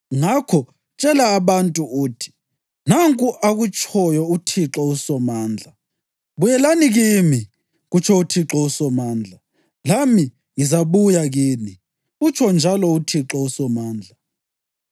Ngakho tshela abantu uthi: Nanku akutshoyo uThixo uSomandla: ‘Buyelani kimi,’ kutsho uThixo uSomandla, ‘lami ngizabuya kini,’ utsho njalo uThixo uSomandla.